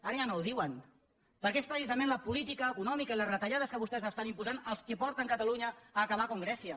ara ja no ho diuen perquè és precisament la política econòmica i les retallades que vostès estan imposant les que porten catalunya a acabar com grècia